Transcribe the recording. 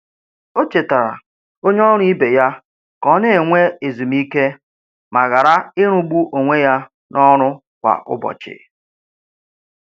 O chetara onye ọrụ ibe ya ka ọ na- enwe ezumike ma ghara ịrụ gbu onwe ya na ọrụ kwa ụbọchị.